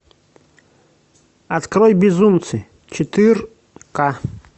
открой безумцы четырка